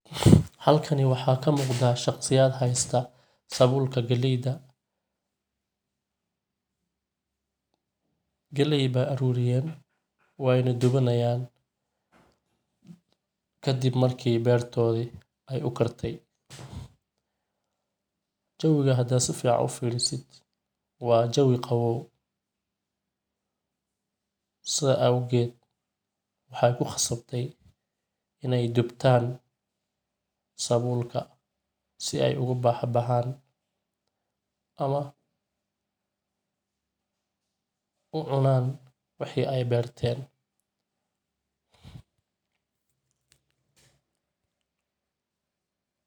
Halkan waxaa kamuqdaa shaqsiyad haysta sabulka galeyda, galey ba aruriyen wayna dubanayan kadib marki bertoodi ay ukartay, jewiga hadad si fican ufiriso waa Jewi qabow sida awged waxay kuqasabte inay dubtaan sabulka si ay ugu bahi baxan ama ucunan wixii aya berteen,